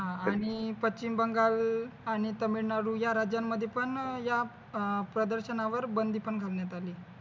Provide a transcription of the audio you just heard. हा आणि पश्‍चिम बंगाल आणि तामिळनाडू या राज्यांमध्ये पण या अं प्रदर्शनावर बंदी पण घालण्यात आली आहे.